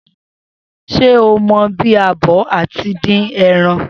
Se ó mọ bí a bò àti dín eran?